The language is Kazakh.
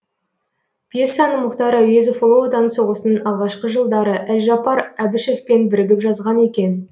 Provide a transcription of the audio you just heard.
пьесаны мұхтар әуезов ұлы отан соғысының алғашқы жылдары әлжаппар әбішевпен бірігіп жазған екен